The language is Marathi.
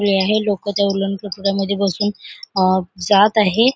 हे आहे लोकं त्या उड़न खटोल्यामधे बसून अ जात आहे.